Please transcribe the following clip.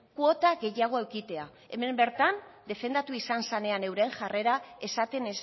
kuota gehiago edukitzea hemen bertan defendatu izan zenean euren jarrera esaten